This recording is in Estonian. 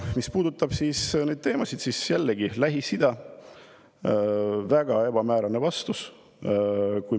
Mis puudutab teemasid, siis Lähis-Ida kohta tuli jällegi väga ebamäärane vastus.